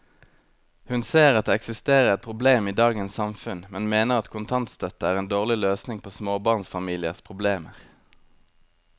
Hun ser at det eksisterer et problem i dagens samfunn, men mener at kontantstøtte er en dårlig løsning på småbarnsfamiliers problemer.